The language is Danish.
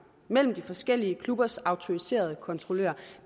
mellem de forskellige klubbers autoriserede kontrollører